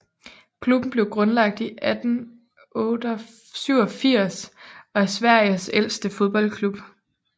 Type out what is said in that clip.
Klubben blev grundlagt i 1887 og er Sveriges ældste fodboldklub